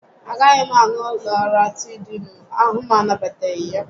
A gaghị m aṅụ Lọratịdịịnụ, ahụ m anabataghị ya